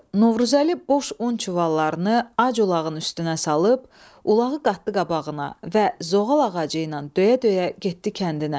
Novruzəli boş un çuvallarını ac ulağın üstünə salıb, ulağın qatdı qabağına və zoğal ağacıyla döyə-döyə getdi kəndinə.